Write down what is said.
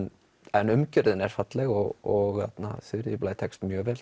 en umgjörðin er falleg og Þuríður Blær tekst mjög vel